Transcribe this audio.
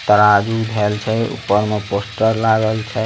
तराजू धेल छै ऊपर में पोस्टर लागल छै।